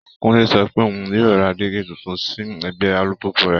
Kúnlé sọ pé òun yóò ra dígí tuntun sí ẹ̀gbẹ́ alùpùpù rẹ̀